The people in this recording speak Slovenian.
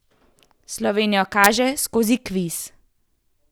Slovenijo kaže skozi kviz.